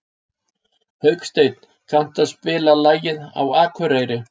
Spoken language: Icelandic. Hauksteinn, kanntu að spila lagið „Á Akureyri“?